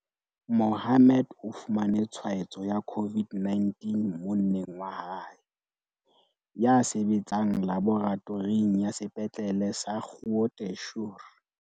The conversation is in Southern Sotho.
Mohammed o fumane tshwaetso ya COVID-19 mo-nneng wa hae, ya sebetsang laboratoring ya Sepetlele sa Groote Schuur.